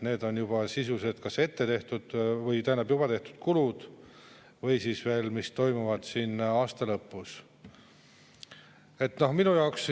Need on sisuliselt kas juba tehtud kulud või siis, mis toimuvad aasta lõpus.